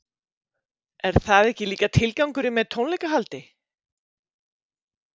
Er það ekki líka tilgangurinn með tónleikahaldi?